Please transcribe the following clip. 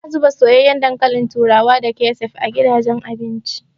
Ana zuba soyayyen dankalin turawa da kecef a gidajen abinci.